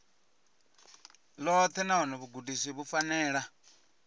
ḽoṱhe nahone vhugudisi vhu fanela